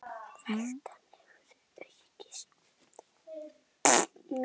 Veltan hefur því aukist mikið.